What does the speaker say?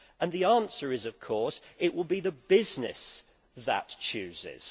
The answer is, of course, that it will be the business that chooses.